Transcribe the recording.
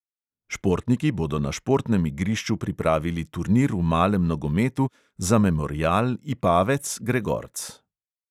Športniki bodo na športnem igrišču pripravili turnir v malem nogometu za memorial ipavec gregorc.